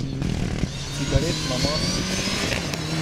Cigaretna masa.